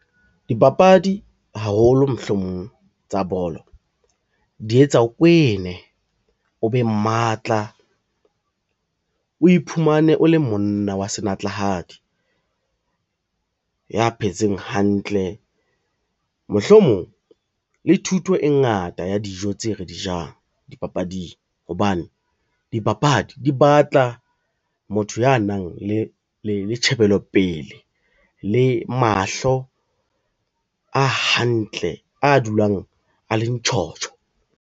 Dipapadi haholo mohlomong tsa bolo di etsa o kwene, o be matla, o iphumane o le monna wa senatlahadi ya phetseng hantle. Mohlomong le thuto e ngata ya dijo tse re di jang dipapading hobane, dipapadi di batla tla motho ya nang le tjhebelopele le mahlo a hantle a dulang a le ntjhotjho.